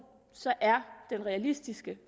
så er den realistiske